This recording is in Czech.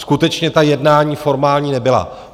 Skutečně ta jednání formální nebyla.